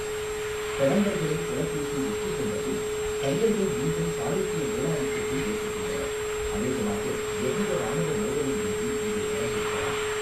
கடம்பர்களை புலகேசி வெற்றிகொண்ட பின், கங்கர்கள் மீண்டும் சாளுக்கிய மேலாதிக்கத்தை ஏற்றுக்கொண்டனர், அநேகமாக எவ்வித இராணுவ மோதலும் இன்றி இது நடந்திருக்கலாம்.